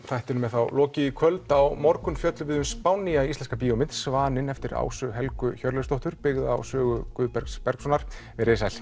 þættinum er þá lokið í kvöld á morgun fjöllum við um spánnýja íslenska bíómynd Svaninn eftir Ásu Helgu Hjörleifsdóttur byggða á sögu Guðbergs Bergssonar veriði sæl